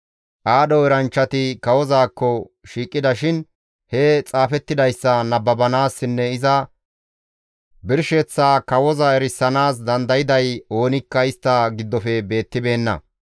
Aadho eranchchati kawozaakko shiiqida shin he xaafettidayssa nababanaassinne iza birsheththaa kawoza erisanaas dandayday oonikka istta giddofe beetibeenna.